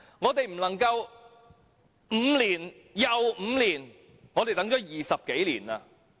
我們不能5年後又等5年，我們已等了20多年。